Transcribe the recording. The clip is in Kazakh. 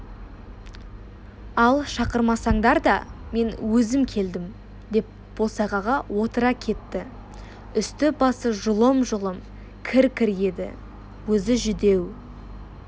ал шақырмасаңдар да мен өзім келдім деп босағаға отыра кетті үсті-басы жұлым-жұлым кір-кір еді өзі жүдеу